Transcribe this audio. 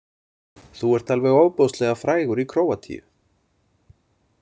Þú ert alveg ofboðslega frægur í Króatíu.